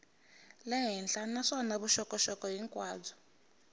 le henhla naswona vuxokoxoko hinkwabyo